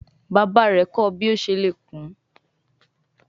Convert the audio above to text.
Bàbá rè kò ọ bí o ṣe lè kún.